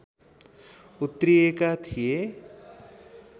उत्रिएका थिए